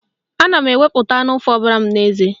Ana m ewepu anụ fobara m n'eze.